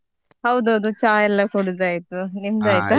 ಹೌದೌದು ಚಾ ಎಲ್ಲ ಕುಡ್ದಾಯಿತು, ನಿಮ್ದ್.